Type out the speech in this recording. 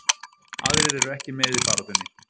Aðrir eru ekki með í baráttunni.